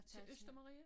Til Østermarie?